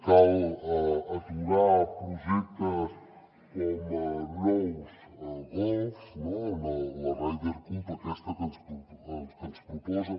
cal aturar projectes com nous golfs la ryder cup aquesta que ens proposen